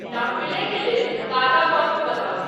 Danville के लेल ताजा मौसम बताऊं